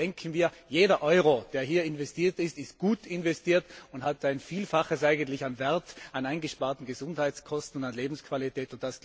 Aber bedenken wir Jeder Euro, der hier investiert wird, ist gut investiert und bringt ein Vielfaches an Wert, an eingesparten Gesundheitskosten und an Lebensqualität.